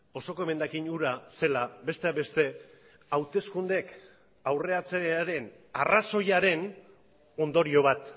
osoko emendakin hura zela besteak beste hauteskundeek aurreratzearen arrazoiaren ondorio bat